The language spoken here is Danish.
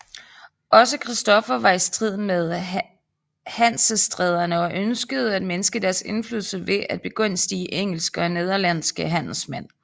Også Christoffer var i strid med Hansestæderne og ønskede at mindske deres indflydelse ved at begunstige engelske og nederlandske handelsmænd